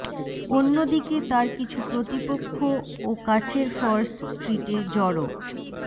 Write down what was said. অন্য দিকে তার কিছু প্রতিপক্ষও কাছের ফার্স্ট স্ট্রিটে জড়ো